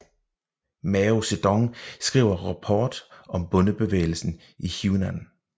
Mao Zedong skriver rapport om bondebevægelsen i Hunan